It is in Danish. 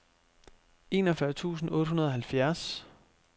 enogfyrre tusind otte hundrede og halvfjerds